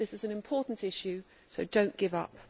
This is an important issue so do not give up.